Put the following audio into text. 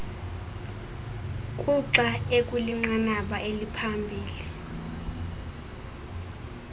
kuxa ekwinqanaba eliphambili